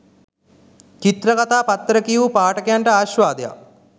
චිත්‍රකතා පත්තර කියවූ පාඨකයන්ට ආශ්වාදයක්